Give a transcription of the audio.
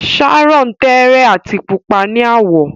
Sharon tẹẹrẹ ati pupa ni awọ.